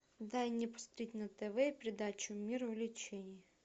дай мне посмотреть на тв передачу мир увлечений